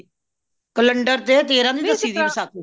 calender ਤੇ ਤੇਰਾਹ ਦੀ ਦਸੀ ਗਈ ਹੈ ਵਸਾਖ਼ੀ